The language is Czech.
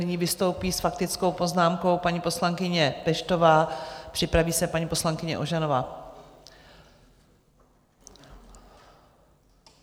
Nyní vystoupí s faktickou poznámkou paní poslankyně Peštová, připraví se paní poslankyně Ožanová.